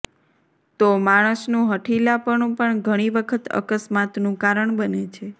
તો માણસનું હઠિલાપણું પણ ઘણી વખત અકસ્માતનું કારણ બને છે